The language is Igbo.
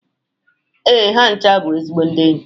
Ee, ha ncha bụ ezigbo ndị enyi.